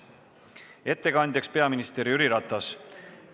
Ettekandja on peaminister Jüri Ratas.